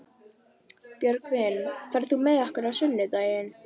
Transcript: Björgvin, ferð þú með okkur á sunnudaginn?